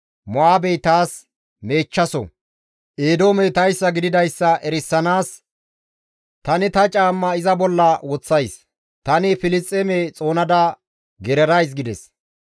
Mo7aabey taas meechchaso; Eedoomey tayssa gididayssa erisanaas tani ta caamma iza bolla woththays; tani Filisxeeme xoonada gererays» gides.